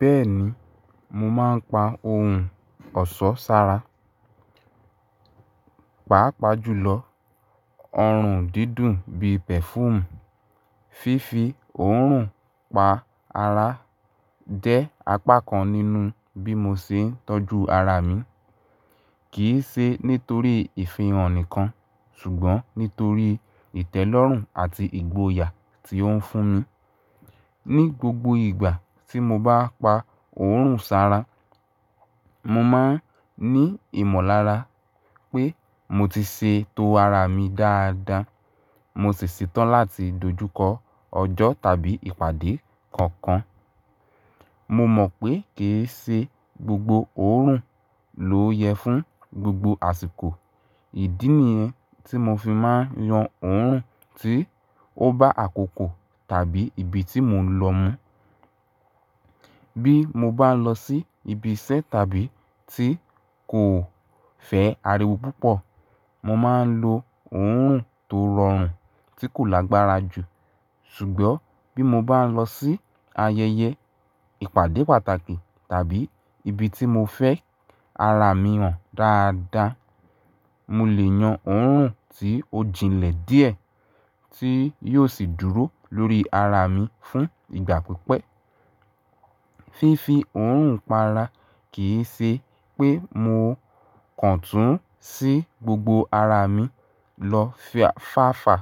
Bẹ́ẹ̀ni, mo máa ń pa ohun ọ̀ṣọ́ sára. Páápàá jùlọ, ọrùn dídùn bí pẹ̀fúùù, fífi òórùn pa ara jẹ́ apá kan nínú bí mo ṣe ń tọ́jú ara mi. Kì í ṣe nítorí ìfihàn nìkan, ṣùgbọ́n nítorí ìtẹ́lọ́rùn àti ìgboyà tí ó ń fún mi. Ni gbogbo ìgbà tí mo bá pa òórùn sára, mo máa ń ní ìmọ̀lára pé mo ti ṣe tó ara mi dáadáa. Mo sì ṣetán láti dojúkọ ọjọ́ tàbí ìpàdé kankan. Mo mọ̀ pé kì í ṣe gbogbo òórùn ló yẹ fún gbogbo àsìkò. Ìdí nìyẹn tí mo fi máa ń yan òórùn tí ó bá àkókò tàbí ibi tí mò ń lọ mu Bí mo bá ń lọ sí ibi iṣẹ́ tàbí tí nkò fẹ́ ariwo púpọ̀, mo máa ń lo òórùn tó rọrùn tí kò lágbára jù. Ṣùgbọ́n bí mo bá ń lọ sí ayẹyẹ, ìpàdé pàtàkì tàbí ibi tí mo fẹ́ ara mi hàn dáadáa, mo lè yan òórùn tí ó jinlẹ̀ díẹ̀ tí yóò sì dúró lórí ara mi fún ìgbà pípẹ́. Fífi òórùn pa ara kì í ṣe pé mo kàn túú sí gbogbo ara mi lọ fàfà.